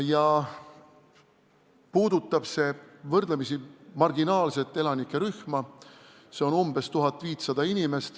See puudutab võrdlemisi marginaalset elanikerühma, umbes 1500 inimest.